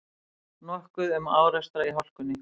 Nokkuð um árekstra í hálkunni